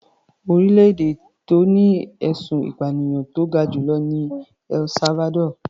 Orílẹ̀-èdè tó ní ẹ̀sùn ìpànìyàn tó ga jù lọ ni El Salvador.